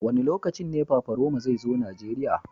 Wa ne lokacin ne Paparoma zai zo Nijeriya.